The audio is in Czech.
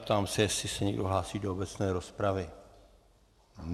Ptám se, zda se někdo hlásí do obecné rozpravy.